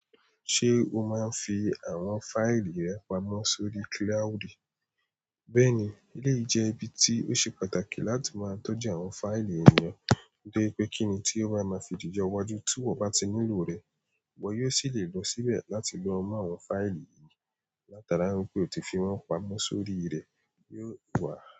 Ṣé o máa ń fi àwọn fáìlì rẹ pamọ́ sórí kíláùdì? Bẹ́ẹ̀ ni, eléyìí jẹ́ ìbí tí ó ṣe pàtàkì láti máa tọ́jú àwọn fáìlì ènìyàn, pé kíni tí ó bá máa fi jẹ́ iwájú tí wọ́n bá ti nílò rẹ, bọ́ yóò sì lè lọ síbẹ̀ láti lọ mú àwọn fáìlì yìí, látara wípé o ti fi wọ́n pamọ́ sórí rẹ̀ yóò wà.